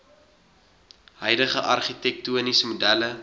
huidige argitektoniese modelle